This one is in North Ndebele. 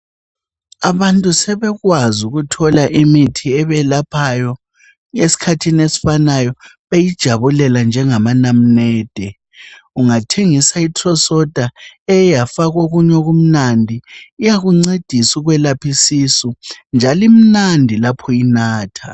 Abantu sebekwazi ukuthola imithi ebelaphayo esikhathini esifanayo beyijabulela njengamanamnede. Ungathenga i Citro-Soda eke yafakwa okunye okumnandi iyakuncedisa ukwelapha isisu njalo imnandi laphu yinatha